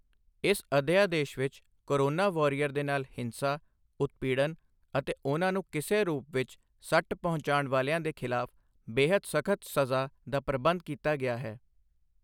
ਇਸ ਅਧਿਆਦੇਸ਼ ਵਿੱਚ ਕੋਰੋਨਾ ਵੋਰੀਅਰ ਦੇ ਨਾਲ ਹਿੰਸਾ, ਉਤਪੀੜਨ ਅਤੇ ਉਨ੍ਹਾਂ ਨੂੰ ਕਿਸੇ ਰੂਪ ਵਿੱਚ ਸੱਟ ਪਹੁੰਚਾਉਣ ਵਾਲਿਆਂ ਦੇ ਖ਼ਿਲਾਫ਼ ਬੇਹੱਦ ਸਖ਼ਤ ਸਜ਼ਾ ਦਾ ਪ੍ਰਬੰਧ ਕੀਤਾ ਗਿਆ ਹੈ।